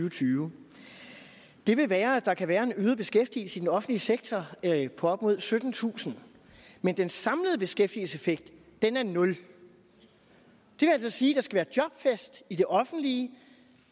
og tyve den vil være at der kan være en øget beskæftigelse i den offentlige sektor på op mod syttentusind men den samlede beskæftigelseseffekt er nul det vil altså sige at der være jobfest i det offentlige